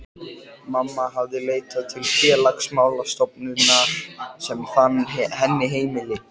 Mamma hafði leitað til Félagsmála stofnunar sem fann henni heimili.